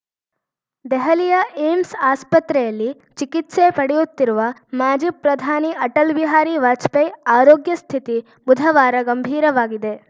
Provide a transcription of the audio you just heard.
ದೆಹಲಿಯ ಏಮ್ಸ್‌ ಆಸ್ಪತ್ರೆಯಲ್ಲಿ ಚಿಕಿತ್ಸೆ ಪಡೆಯುತ್ತಿರುವ ಮಾಜಿ ಪ್ರಧಾನಿ ಅಟಲ್‌ ಬಿಹಾರಿ ವಾಜಪೇಯಿ ಆರೋಗ್ಯ ಸ್ಥಿತಿ ಬುಧವಾರ ಗಂಭೀರವಾಗಿದೆ